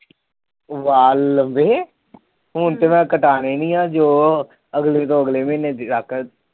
ਵਾਲ ਹੁਣ ਤੇ ਮੈ ਕਟਾਣੇ ਨੀ ਜੋ ਅਗਲੇ ਤੋ ਅਗਲੇ ਮਹੀਨੇ ਤੱਕ